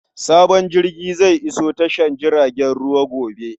Sabon jirgi zai iso tashar jiragen ruwa gobe.